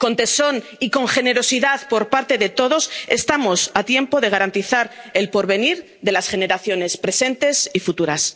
Con tesón y con generosidad por parte de todos, estamos a tiempo de garantizar el porvenir de las generaciones presentes y futuras.